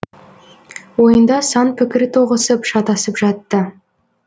ойында сан пікір тоғысып шатасып жатты